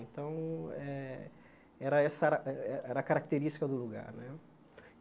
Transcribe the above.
Então eh, era essa era a a característica do lugar né.